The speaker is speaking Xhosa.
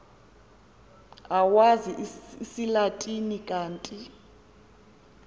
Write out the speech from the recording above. owazi isilatina kanti